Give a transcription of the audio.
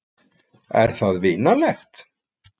Er það vinalegt?